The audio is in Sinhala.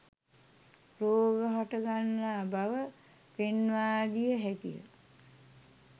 රෝග හට ගන්නා බව පෙන්වා දිය හැකිය.